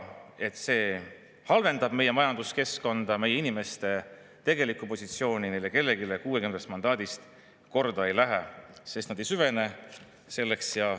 Et see halvendab meie majanduskeskkonda, meie inimeste tegelikku positsiooni, neile kellelegi neist 60-st korda ei lähe, sest nad ei süvene sellesse.